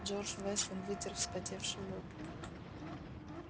джордж вестон вытер вспотевший лоб